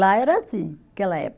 Lá era assim, naquela época.